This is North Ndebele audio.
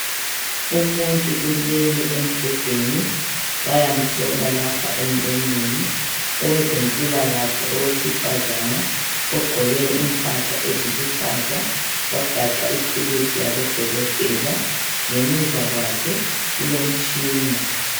Umuntu ulele embhedeni bayamhlola lapha emlonyeni owezempilakahle owesifazana ogqoke impahla eziluhlaza wagaxa ithulusi yabo dokotela ngemuva kwakhe kulomtshina.